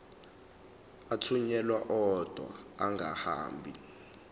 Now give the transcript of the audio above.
athunyelwa odwa angahambi